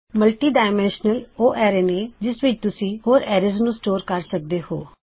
multidimensional array ਉਹ array ਨੇ ਜਿਸ ਵਿੱਚ ਤੁਸੀਂ ਹੋਰ ਐਰੇਜ਼ ਨੂੰ ਸਟੋਰ ਕਰ ਸਕਦੇ ਹੋਂ